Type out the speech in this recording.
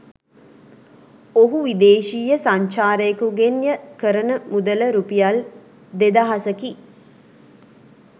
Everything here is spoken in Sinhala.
ඔහු විදේශීය සංචාරකයකුගෙන් ය කරන මුදල රුපියල් දෙදහසකි